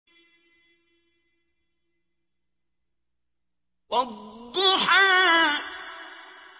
وَالضُّحَىٰ